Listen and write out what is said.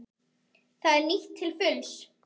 Það er nýtt til fulls.